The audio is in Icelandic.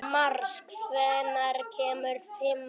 Mars, hvenær kemur fimman?